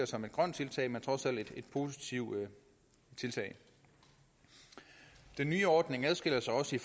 som et grønt tiltag men trods alt som et positivt tiltag den nye ordning adskiller sig også